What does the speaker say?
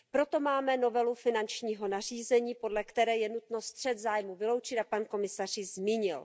Proto máme novelu finančního nařízení, podle které je nutno střet zájmů vyloučit, a pan komisař ji zmínil.